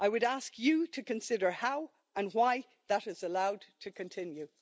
I would ask you to consider how, and why, that is allowed to continue?